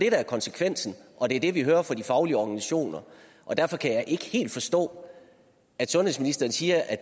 er konsekvensen og det er det vi hører fra de faglige organisationer derfor kan jeg ikke helt forstå at sundhedsministeren siger at